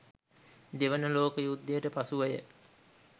දෙවන ලෝක යුද්ධයට පසුවය.